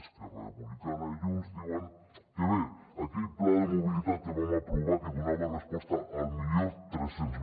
esquerra republicana i junts diuen que bé aquell pla de mobilitat que vam aprovar que donava resposta a l’mil tres cents